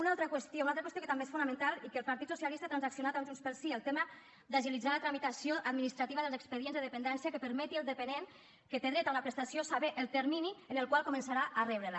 una altra qüestió una altra qüestió que també és fonamental i que el partit socialista ha transaccionat amb junts pel sí el tema d’agilitar la tramitació administrativa dels expedients de dependència que permeti al dependent que té dret a una prestació saber el termini en el qual començarà a rebre la